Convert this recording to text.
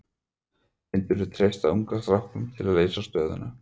Myndirðu treysta ungu strákunum til að leysa stöðuna?